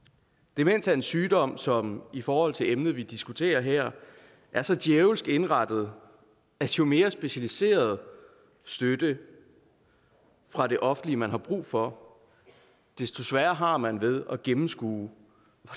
demens er en sygdom som i forhold til emnet vi diskuterer her er så djævelsk indrettet at jo mere specialiseret støtte fra det offentlige man har brug for desto sværere har man ved at gennemskue